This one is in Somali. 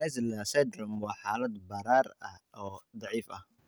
Schnitzler syndrome waa xaalad barar ah oo dhif ah.